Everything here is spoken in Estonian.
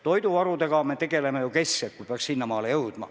Toiduvarudega me tegeleme ju keskselt, kui asi peaks sinnamaale jõudma.